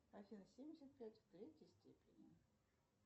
афина семьдесят пять в третьей степени